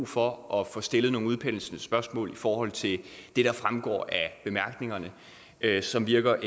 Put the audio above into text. for at få stillet nogle udpenslende spørgsmål i forhold til det der fremgår af bemærkningerne som virker